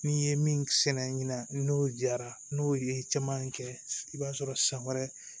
N'i ye min sɛnɛ ɲinan ni n'o jara n'o ye caman kɛ i b'a sɔrɔ san wɛrɛ